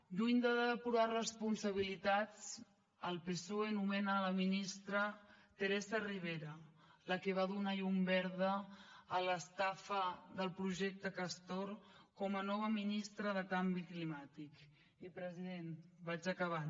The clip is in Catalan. lluny de depurar responsabilitats el psoe nomena la ministra teresa ribera la que va donar llum verda a l’estafa del projecte castor com a nova ministra de canvi climàtic i president vaig acabant